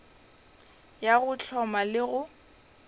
ya go hloma le go